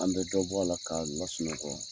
An bɛ dɔbɔ a la k'a lasunɔgɔ.